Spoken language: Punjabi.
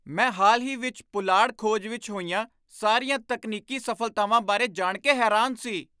ਮੈਂ ਹਾਲ ਹੀ ਵਿੱਚ ਪੁਲਾੜ ਖੋਜ ਵਿੱਚ ਹੋਈਆਂ ਸਾਰੀਆਂ ਤਕਨੀਕੀ ਸਫਲਤਾਵਾਂ ਬਾਰੇ ਜਾਣ ਕੇ ਹੈਰਾਨ ਸੀ।